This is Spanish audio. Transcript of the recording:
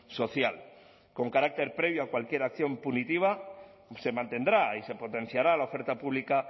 social con carácter previo a cualquier acción punitiva se mantendrá y se potenciará la oferta pública